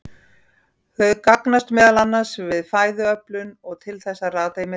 Þau gagnast meðal annars við fæðuöflun og til þess að rata í myrkri.